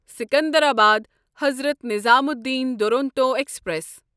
Secunderabad Hazrat Nizamuddin Duronto express